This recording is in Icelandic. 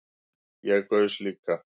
Ég gaus líka